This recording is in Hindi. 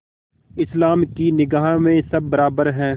इस्लाम की निगाह में सब बराबर हैं